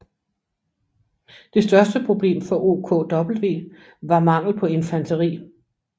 Det største problem for OKW var mangel på infanteri